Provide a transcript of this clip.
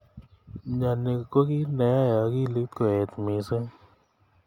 Mnyeni ko ki neyai akilit koet missing.